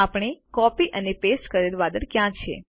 આપણે કોપી અને પેસ્ટ કરેલ વાદળ ક્યાં છે